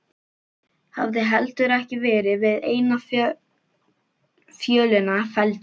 Hafði heldur ekki verið við eina fjölina felldur.